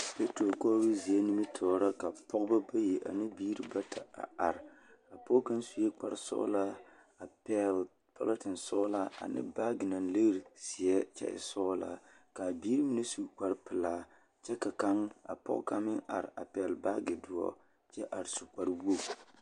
Pitro kɔɔro zie nimitɔɔreŋ ka pɔgba bayi ane biiri bata a are. a pɔge kang suyee kpare sɔŋlaa a pɛŋle pulɔŋtin sɔŋlaa ane baagy naŋ leŋ zeɛ kyɛ sɔŋlaa ka biiri mine su kpare pilaa kyɛ ka kaŋ a pɔge kaŋ meŋ are a pɛŋle baagy doɔ kyɛ are su kpare wɔge